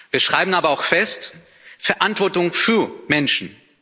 Wir schreiben aber auch fest Verantwortung für Menschen.